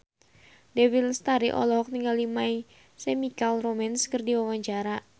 Dewi Lestari olohok ningali My Chemical Romance keur diwawancara